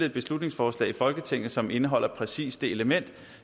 et beslutningsforslag i folketinget som indeholder præcis det element